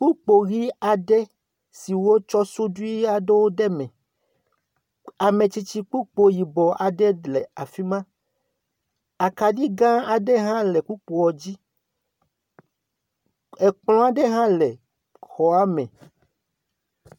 Kpukpo ɣi aɖewo si wotsɔ suɖi aɖewo ɖe eme ametsitsi kpukpo yibɔ aɖe le afima akaɖi ga aɖe ha le kpukpoa dzi ekplɔ aɖe ha le xɔa me